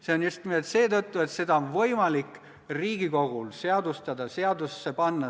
See on just nimelt seetõttu, et seda punkti on võimalik Riigikogul seadustada, seadusesse panna.